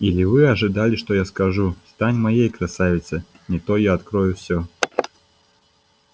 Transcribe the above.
или вы ожидали что я скажу стань моей красавица не то я открою всё